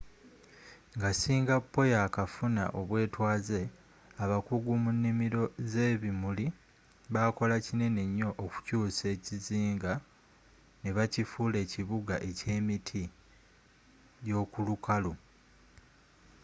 nga singapore yakafuna obwetwaze abakugu mu nimiro z'ebimuli bakola kinene nyo okukyusa ekizinga nebakifula ekibuga ekyemiti gyokulukalu